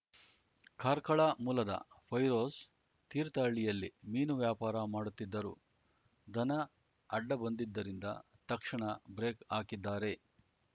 ಕಾರ್ಕಳ ಮೂಲದ ಫೈರೋಜ್‌ ತೀರ್ಥಹಳ್ಳಿಯಲ್ಲಿ ಮೀನು ವ್ಯಾಪಾರ ಮಾಡುತ್ತಿದ್ದರು ದನ ಅಡ್ಡ ಬಂದಿದ್ದರಿಂದ ತಕ್ಷಣ ಬ್ರೇಕ್‌ ಹಾಕಿದ್ದಾರೆ